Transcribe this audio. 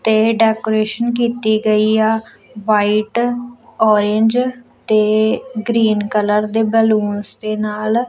ਤੇ ਡੈਕੋਰੇਸ਼ਨ ਕੀਤੀ ਗਈ ਆ ਵਾਈਟ ਔਰੇਂਜ ਤੇ ਗ੍ਰੀਨ ਕਲਰ ਦੇ ਬੈਲੂਨਸ ਦੇ ਨਾਲ।